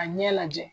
A ɲɛ lajɛ